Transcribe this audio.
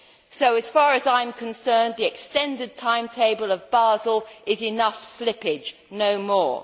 So as far as I am concerned, the extended timetable of Basel is enough slippage no more.